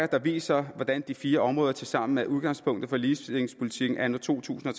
der viser hvordan de fire områder tilsammen er udgangspunktet for ligestillingspolitikken anno to tusind og